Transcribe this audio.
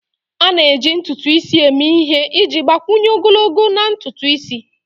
A na-eji ntutu isi eme ihe iji gbakwunye ogologo na ntutu isi.